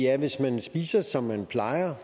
at hvis man spiser som man plejer